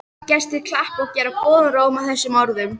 Gestir klappa og gera góðan róm að þessum orðum.